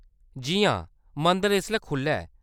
जी हां, मंदर इसलै खुʼल्ला ऐ।